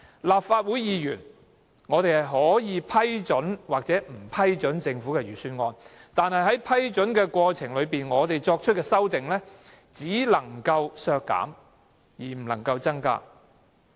立法會議員可以批准或不批准政府的預算案，但在過程中，我們對預算案作出的修訂只能削減而不能增加開支。